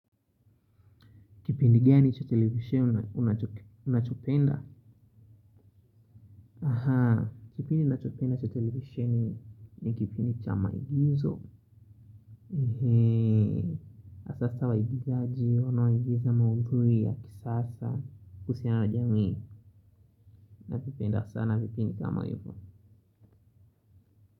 Kipindi gani cha televisisheni unachopenda? Aha, kipindi ninachopenda cha televisheni ni kipindi cha maigizo. Na sasa waigizaji, wanao igiza maudhui ya kisasa kuhusiana na jamii. Navipenda sana vipindi kama hivo.